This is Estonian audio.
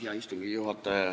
Hea istungi juhataja!